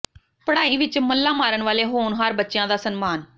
ਪੜ੍ਹਾਈ ਵਿੱਚ ਮੱਲਾਂ ਮਾਰਨ ਵਾਲੇ ਹੋਣਹਾਰ ਬੱਚਿਆਂ ਦਾ ਸਨਮਾਨ